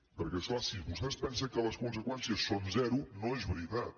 perquè és clar si vostè es pensa que les conseqüèn·cies són zero no és veritat